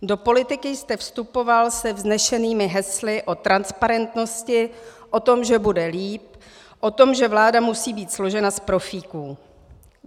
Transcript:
Do politiky jste vstupoval se vznešenými hesly o transparentnosti, o tom, že bude líp, o tom, že vláda musí být složena z profíků.